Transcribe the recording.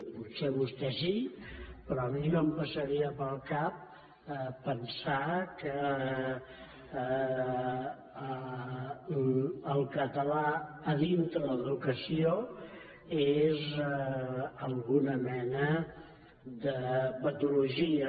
potser a vostè sí però a mi no em passaria pel cap pensar que el català dintre l’educació és alguna mena de patologia